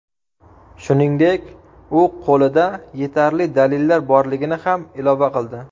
Shuningdek, u qo‘lida yetarli dalillar borligini ham ilova qildi.